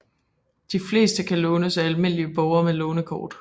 De fleste kan lånes af almindelige borgere med lånerkort